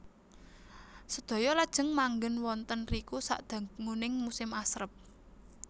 Sedaya lajeng manggèn wonten riku sadanguning musim asrep